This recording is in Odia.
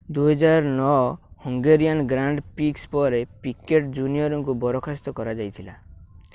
2009 ହଙ୍ଗେରିୟାନ୍ ଗ୍ରାଣ୍ଡ ପିକ୍ସ ପରେ ପିକେଟ୍ ଜୁନିୟରଙ୍କୁ ବରଖାସ୍ତ କରାଯାଇଥିଲା